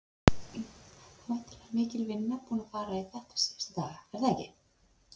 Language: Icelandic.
Það er væntanleg mikil vinna búin að fara í þetta síðustu daga, er það ekki?